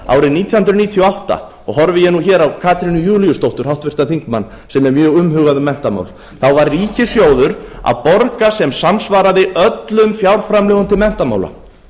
árið nítján hundruð níutíu og átta og horfi ég nú hér á katrínu júlíusdóttur háttvirtan þingmann sem er mjög umhugað um menntamál þá var ríkissjóður að borga sem samsvaraði öllum fjárframlögum til menntamála